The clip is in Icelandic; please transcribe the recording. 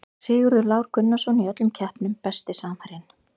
Sigurður Lár Gunnarsson í öllum keppnum Besti samherjinn?